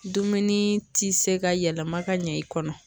Dumuni ti se ka yɛlɛma ka ɲɛ i kɔnɔ